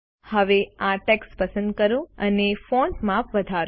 હવે આ ટેક્સ્ટ પસંદ કરો અને ફોન્ટ માપ વધારો